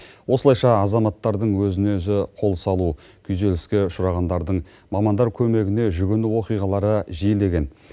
осылайша азаматтардың өзіне өзі қол салу күйзеліске ұшырағандардың мамандар көмегіне жүгіну оқиғалары жиілеген